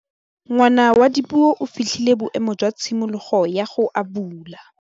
Ngwana wa Dipuo o fitlhile boêmô jwa tshimologô ya go abula.